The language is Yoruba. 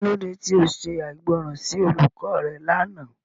Kilode ti o ṣe aigbọran si olukọ rẹ làná?